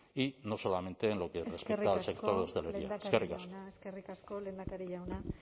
y no solamente en lo que respecta al sector de la hostelería eskerrik asko eskerrik asko lehendakari jauna